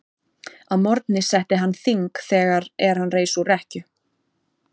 Að morgni setti hann þing þegar er hann reis úr rekkju.